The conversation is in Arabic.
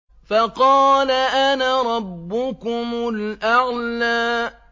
فَقَالَ أَنَا رَبُّكُمُ الْأَعْلَىٰ